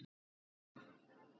En ef Heilagur